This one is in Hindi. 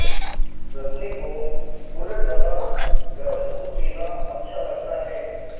रजनी को गुड़ डला गरम दूध पीना अच्छा लगता है